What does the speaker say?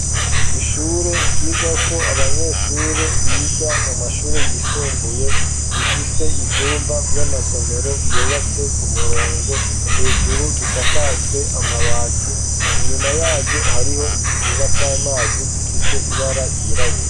Ishure ryiga ko abanyeshure biga mu mashure yisumbuye rifise ivyumba vy'amasomero vyubatse ku murongo hejuru bisakajwe amabati inyuma yaryo hariho ikigaga c'amazi gifise ibara ryirabure.